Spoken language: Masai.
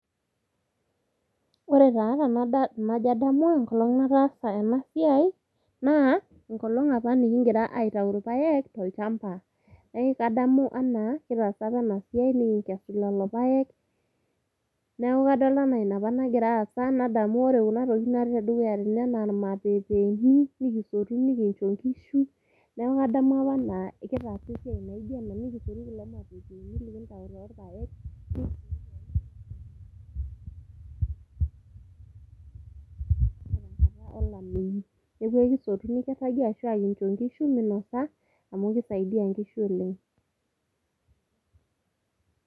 Ore taa tenajo adamu enkolong nataasa enasiai, naa, enkolong apa nikigira aitau irpaek, tolchamba. Eki kadamu enaa, kitaasa apa enasiai, nikingesu lelo paek. Neeku kadolta enaa inapa nagira aasa. Nadamu ore kuna tokiting natii tedukuya tene enaa irmapepeeni, nikisotu, nikincho nkishu, neeku kadamu apa enaa kitaasa esiai naijo ena, nikisotu kulo mapepeeni likintau torpaek, tenkata olameyu. Neeku ekisotu nikirragie, ashua kincho nkishu minosa, amu kisaidia nkishu oleng'.